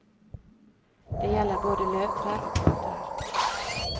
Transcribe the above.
Det gjelder både løvtrær og bartrær.